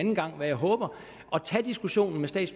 diskutere